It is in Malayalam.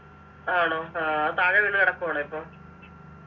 ആണോ ആ താഴെ വീണു കിടക്കുവാണോ ഇപ്പൊ